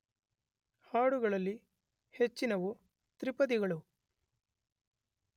ಹಾಡುಗಳಲ್ಲಿ ಹೆಚ್ಚಿನವು ತ್ರಿಪದಿಗಳು.